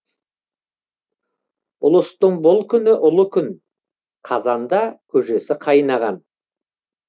ұлыстың бұл күні ұлы күн қазанда көжесі қайнаған